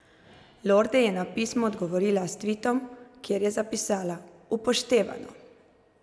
Lorde je na pismo odgovorila s tvitom, kjer je zapisala: "Upoštevano!